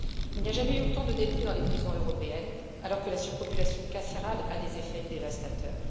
Il n'y a jamais eu autant de détenus dans les prisons européennes, alors que la surpopulation carcérale a des effets dévastateurs.